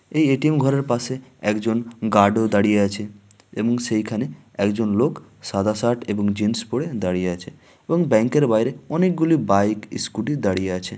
এই এ.টি.এম. ঘরের পাশে একজনগার্ড ও দাঁড়িয়ে আছেএবং সেইখানেএকজন লোক সাদা শার্ট এবং জিন্স পড়ে দাঁড়িয়ে আছে এবং ব্যাংক এর বাইরে অনেকগুলি বাইক স্কুটি দাঁড়িয়ে আছে।